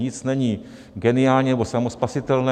Nic není geniální nebo samospasitelné.